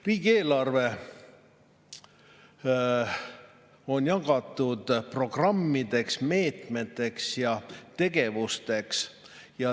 Riigieelarve on jagatud programmideks, meetmeteks ja tegevusteks.